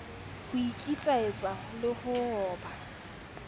ho ikitlaetsa le ho ba